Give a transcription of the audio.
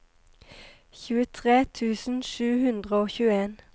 tjuetre tusen sju hundre og tjueen